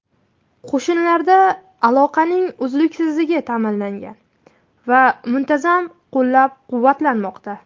Qo‘shinlarda aloqaning uzluksizligi ta’minlangan va muntazam qo‘llab-quvvatlanmoqda.